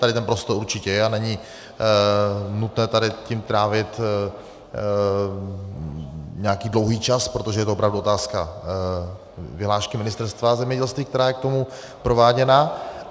Tady ten prostor určitě je a není nutné tady tím trávit nějaký dlouhý čas, protože je to opravdu otázka vyhlášky Ministerstva zemědělství, která je k tomu prováděna.